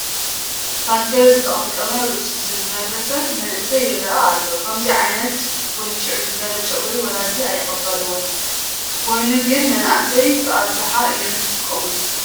ፓንከር ዝተቐምቀመ ርእሱ ዝፈረዘ መንእሰይ ይርአ ኣሎ፡፡ ከምዚ ዓይነት ውንጭር ዝበለ ጨጉሪ ወለዲ ኣይቕበልዎን፡፡ ኮይኑ ግን መናእሰይ ብኣብዝሓ እዮም ዝጥቀሙሉ፡፡